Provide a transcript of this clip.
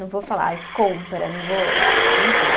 Não vou falar, compra, não vou. Enfim.